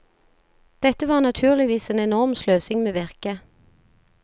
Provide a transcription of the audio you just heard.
Dette var naturligvis en enorm sløsing med virket.